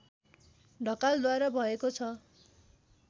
ढकालद्वारा भएको छ